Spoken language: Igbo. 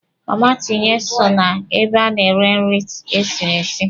Mama Tinye so na ebe a na-ere nri esiri esi